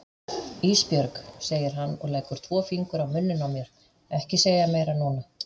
Ísbjörg, segir hann og leggur tvo fingur á munninn á mér, ekki segja meira núna.